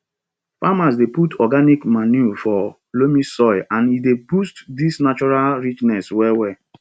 farmers dey put organic manure for loamy soil and e dey boost di natural richness well well